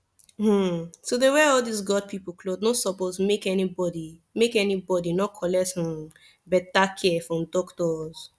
hmn to wear all these god pipu cloth nor suppos make any bodi make any bodi nor collect hmn beta care from dockitos